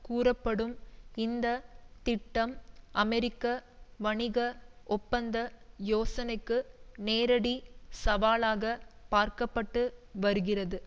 கூறப்படும் இந்த திட்டம் அமெரிக்க வணிக ஒப்பந்த யோசனைக்கு நேரடி சவாலாகப் பார்க்கப்பட்டு வருகிறது